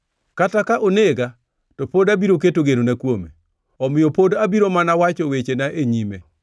Kata ka onega, to pod abiro keto genona kuome; omiyo pod abiro mana wacho wechena e nyime.